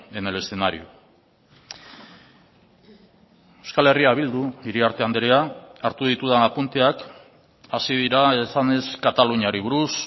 en el escenario euskal herria bildu iriarte andrea hartu ditudan apunteak hasi dira esanez kataluniari buruz